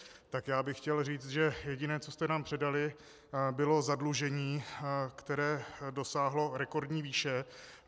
Tak já bych chtěl říct, že jediné, co jste nám předali, bylo zadlužení, které dosáhlo rekordní výše.